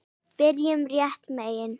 Byrjum réttum megin.